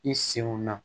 I senw na